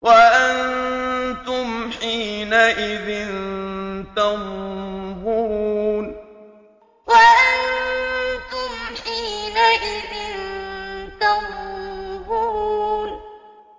وَأَنتُمْ حِينَئِذٍ تَنظُرُونَ وَأَنتُمْ حِينَئِذٍ تَنظُرُونَ